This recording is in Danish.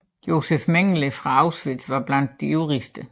Josef Mengele fra Auschwitz var blandt de ivrigste